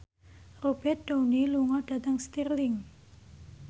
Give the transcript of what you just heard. Robert Downey lunga dhateng Stirling